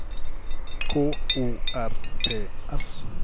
K O R P S